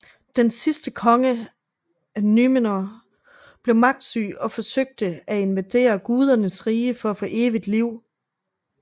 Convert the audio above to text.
Den sidste konge af Númenor blev magtsyg og forsøgte at invadere gudernes rige for at få evigt liv